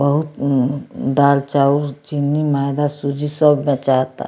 बहु म्म दाल चाउर चीनी मैदा सूजी सब बेचायता।